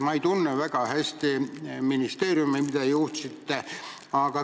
Ma ei tunne väga hästi ministeeriumi, mida te olete juhtinud.